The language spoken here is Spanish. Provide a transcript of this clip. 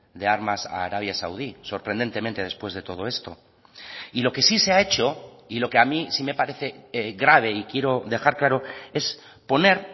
de armas a arabia saudí sorprendentemente después de todo esto y lo que sí se ha hecho y lo que a mí sí me parece grave y quiero dejar claro es poner